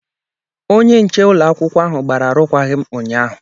Onye nche ụlọ akwụkwọ ahụ gbara arụkwaghịm ụnyaahụ.